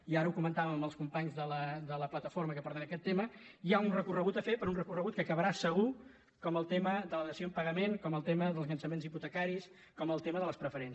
i ara ho comentà·vem amb els companys de la plataforma que porten aquest tema hi ha un recorregut a fer però un recor·regut que acabarà segur com el tema de la dació en pagament com el tema dels llançaments hipotecaris com el tema de les preferents